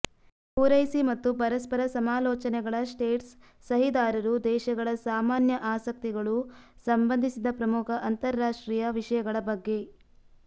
ಪೂರೈಸಿ ಮತ್ತು ಪರಸ್ಪರ ಸಮಾಲೋಚನೆಗಳ ಸ್ಟೇಟ್ಸ್ ಸಹಿದಾರರು ದೇಶಗಳ ಸಾಮಾನ್ಯ ಆಸಕ್ತಿಗಳು ಸಂಬಂಧಿಸಿದ ಪ್ರಮುಖ ಅಂತರರಾಷ್ಟ್ರೀಯ ವಿಷಯಗಳ ಬಗ್ಗೆ